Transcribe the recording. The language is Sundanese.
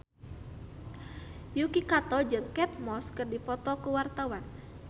Yuki Kato jeung Kate Moss keur dipoto ku wartawan